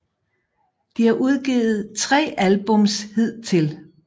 De har udgivet 3 albums hidtil